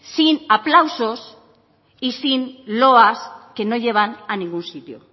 sin aplausos y sin loas que no llevan a ningún sitio